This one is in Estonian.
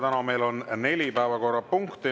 Täna on meil neli päevakorrapunkti.